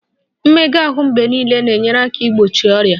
Mmega ahụ mgbe niile na-enyere aka igbochi ọrịa